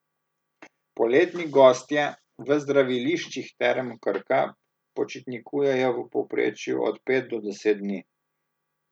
Poletni gostje v zdraviliščih Term Krka počitnikujejo v povprečju od pet do deset dni.